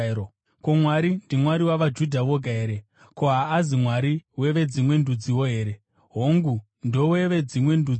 Ko, Mwari ndiMwari wavaJudha voga here? Ko, haazi Mwari weveDzimwe Ndudziwo here? Hongu ndoweveDzimwe Ndudziwo,